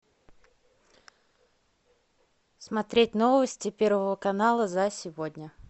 смотреть новости первого канала за сегодня